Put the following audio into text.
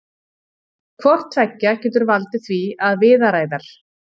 hvort tveggja getur valdið því að viðaræðar